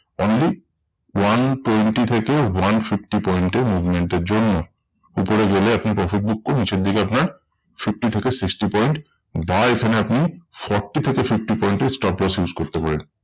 Only one twenty থেকে one fifty point এ movement এর জন্য। উপরে গেলে আপনি profit book করে নিচের দিকে আপনার fifty থেকে sixty point buy বা এখানে আপনি forty থেকে fifty point এর stop loss use করতে পারেন।